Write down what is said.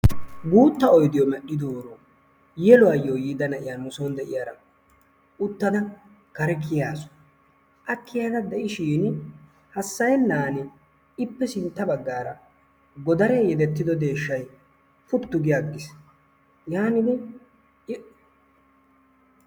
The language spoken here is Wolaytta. Guutta oydiyoo medhidooro yeluwaayo yiida na'iyaa nusoon de'iyaara uttada kare kiyaasu. a kiyada de'iishin hasayennan ippe sintta baggaara godaree yedettido deeshshay puttu gi aggiis. yaanidi i